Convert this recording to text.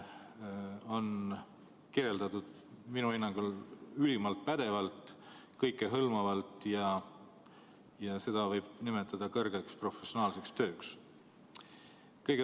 Seda on kirjeldatud minu hinnangul ülimalt pädevalt, kõikehõlmavalt ja seda võib nimetada kõrge professionaalsusega tööks.